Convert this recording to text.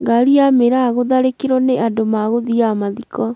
Ngari ya mĩraa gũtharĩkĩrwo nĩ andũ magũthiaga mathiko